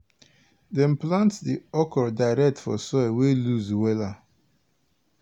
dem plant di okro direct for soil wey loose wella.